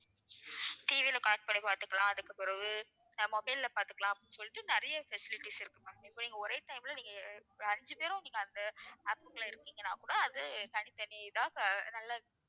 TV ல connect பண்ணி பார்த்துக்கலாம். அதுக்குப் பிறகு அஹ் mobile ல பார்த்துக்கலாம் சொல்லிட்டு நிறைய facilities இருக்கு ma'am. இப்ப நீங்க ஒரே time ல நீங்க அஹ் ஐந்து பேரும் நீங்க அந்த app க்குள்ள இருக்கீங்கன்னா கூட அது தனித்தனி இதா க~ நல்ல